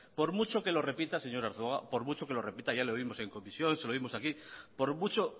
por mucho que lo repita señor arzuaga ya le oímos en comisión se lo oímos aquí por mucho